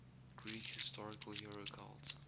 greek historical hero cult